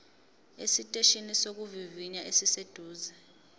esiteshini sokuvivinya esiseduze